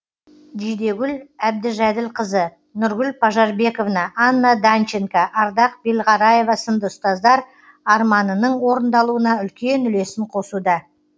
жидегүл әбдіжәділқызы нұргүл пажарбековна анна данченко ардақ белғараева сынды ұстаздар арманының орындалуына үлкен үлесін қосуда